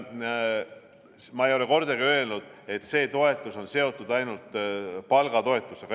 Ma ei ole kordagi öelnud, et see toetus on seotud ainult palgatoetusega.